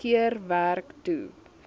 keer werk toe